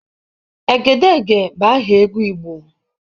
Egedege bụ aha egwu Igbo.